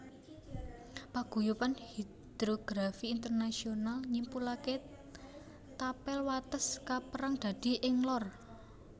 Paguyuban Hidrografi Internasional nyimpulake tapel wates kaperang dadi Ing Lor